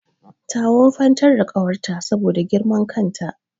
Ta wufantar da ƙawarta saboda girman kan ta.